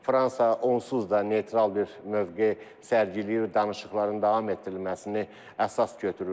Fransa onsuz da neytral bir mövqe sərgiləyir, danışıqların davam etdirilməsini əsas götürürdü.